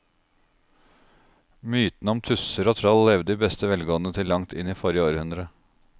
Mytene om tusser og troll levde i beste velgående til langt inn i forrige århundre.